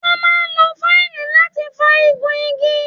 Wọ́n máa ń lo fáìlì láti fá igun igi.